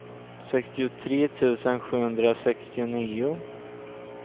sextiotre tusen sjuhundrasextionio